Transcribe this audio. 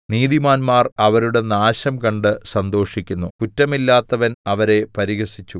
നീതിമാന്മാർ അവരുടെ നാശം കണ്ട് സന്തോഷിക്കുന്നു കുറ്റമില്ലാത്തവൻ അവരെ പരിഹസിച്ചു